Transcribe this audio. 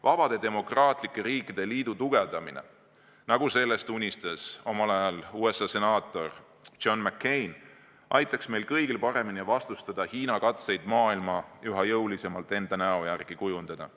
Vabade demokraatlike riikide liidu tugevdamine, nagu sellest unistas omal ajal USA senaator John McCain, aitaks meil kõigil paremini vastustada Hiina katseid maailma üha jõulisemalt enda näo järgi kujundada.